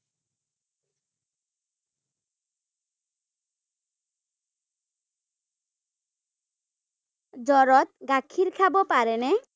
জ্বৰত গাখীৰ খাব পাৰে নে?